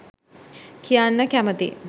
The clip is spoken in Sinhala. කියන්න කැමති